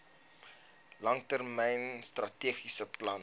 langtermyn strategiese plan